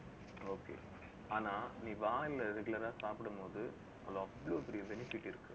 okay ஆனா நீ வாழை இலைல regular ஆ சாப்பிடு போது, அதுல அவ்ளோ பெரிய benefit இருக்கு